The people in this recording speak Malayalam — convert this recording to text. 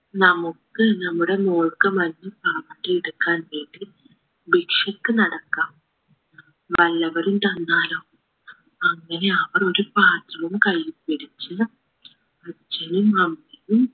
നമുക്ക് നമ്മുടെ മോൾക്ക് മഞ്ഞപ്പാവാടയെടുക്കാൻ വേണ്ടി ഭിക്ഷക്ക് നടക്കാം വല്ലവരും തന്നാലോ അങ്ങനെ അവർ ഒരു പാത്രവും കൈയിൽ പിടിച്ച് അച്ഛനും അമ്മയും